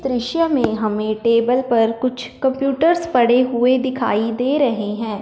दृश्य में हमें टेबल पर कुछ कंप्यूटर्स पड़े हुए दिखाई दे रहे हैं।